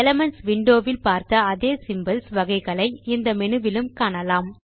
elements window வில் பார்த்த அதே சிம்போல்ஸ் வகைகளை இந்த மெனுவிலும் காணலாம்